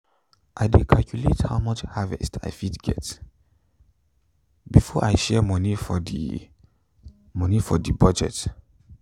i dey calculate how much harvest i fit get before i share money for the money for the budget.